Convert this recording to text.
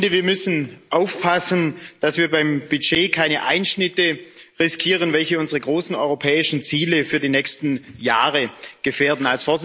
Ich finde, wir müssen aufpassen, dass wir beim Budget keine Einschnitte riskieren, welche unsere großen europäischen Ziele für die nächsten Jahre gefährden.